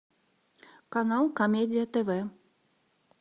канал комедия тв